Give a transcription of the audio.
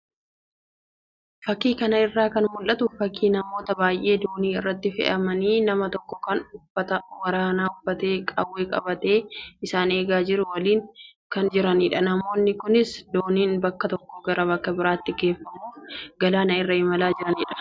Fakii kana irraa kan mul'atu fakii namoota baay'ee doonii irratti fe'amanii nama tokko kan uffata waraanaa uffatee qawwee qabatee isaan eegaa jiru waliin kan jiranidha. namoonni kunis dooniin bakka tokkoo gara bakka biraatti geeffamuuf galaana irra imalaa jiranidha.